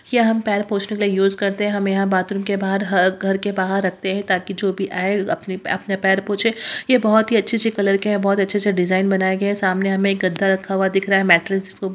यह हम पैर पोछने के लिए यूज करते हैं हमें यहाँ बाथरूम के बाहर ह घर के बाहर रखते हैं ताकि जो भी आए अपने अपने पैर पूछे यह बहोत ही अच्छी-अच्छी कलर के हैं बहोत अच्छे-अच्छे डिज़ाइन बनाए गए हैं सामने हमें एक गद्दा रखा हुआ दिख रहा है मैट्रेस जिसको बो --